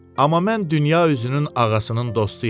Amma mən dünya üzünün ağasının dostuyam.